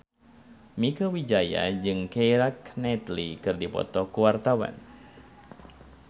Mieke Wijaya jeung Keira Knightley keur dipoto ku wartawan